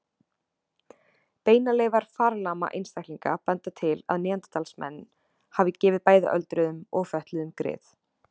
Beinaleifar farlama einstaklinga benda til að neanderdalsmenn hafi gefið bæði öldruðum og fötluðum grið.